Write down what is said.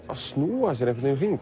að snúa sér